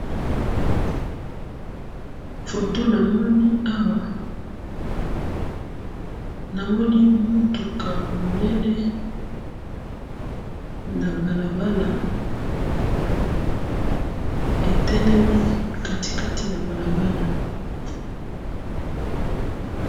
foto namoni awa namoni mutuka munene na balabala etelemi na katikati na balabala